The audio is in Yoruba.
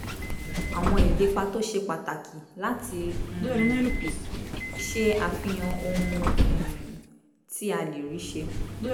àwọn ìlépa tó ṣe pàtàkì láti um ṣe àfihàn ohun um tí a lè rí ṣe